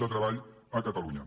de treball a catalunya